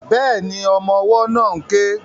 Bẹ́ẹ̀ni, ọmọ ọwọ́ náà ń ké